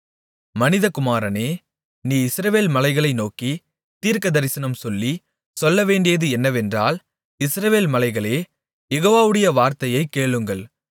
மனிதகுமாரனே நீ இஸ்ரவேல் மலைகளை நோக்கித் தீர்க்கதரிசனம் சொல்லி சொல்லவேண்டியது என்னவென்றால் இஸ்ரவேல் மலைகளே யெகோவாவுடைய வார்த்தையைக் கேளுங்கள்